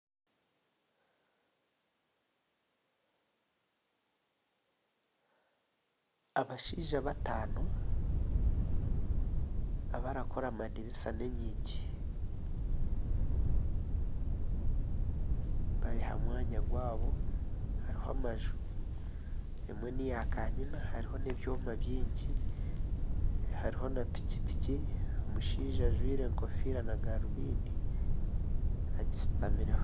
Abashaija bataano abarikora amadirisa n'enyigi bari ha mwanya gwabo hariho amaju. Emwe n'eya kanyina hariho n'ebyoma bingi. Hariho na pikipiki omushaija ajwaire enkofiira na garubindi.